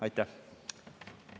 Aitäh!